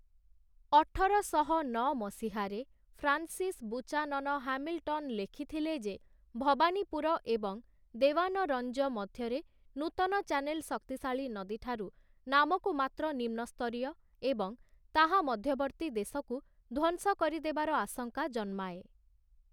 ଅଠରଶହ ନଅ ମସିହାରେ ଫ୍ରାନ୍ସିସ ବୁଚାନନ ହାମିଲଟନ ଲେଖିଥିଲେ ଯେ ଭବାନୀପୁର ଏବଂ ଦେୱାନରଞ୍ଜ ମଧ୍ୟରେ ନୂତନ ଚାନେଲ ଶକ୍ତିଶାଳୀ ନଦୀ ଠାରୁ ନାମକୁ ମାତ୍ର ନିମ୍ନସ୍ତରୀୟ ଏବଂ ତାହା ମଧ୍ୟବର୍ତ୍ତୀ ଦେଶକୁ ଧ୍ୱଂସ କରିଦେବାର ଆଶଙ୍କା ଜନ୍ମାଏ ।